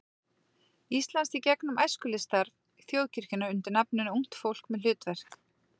Íslands í gegnum æskulýðsstarf þjóðkirkjunnar undir nafninu Ungt fólk með hlutverk.